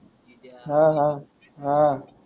हाहा हा.